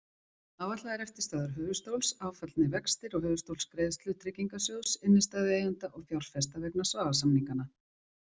Áætlaðar eftirstöðvar höfuðstóls, áfallnir vextir og höfuðstólsgreiðslur Tryggingarsjóðs innstæðueigenda og fjárfesta vegna Svavars-samninganna.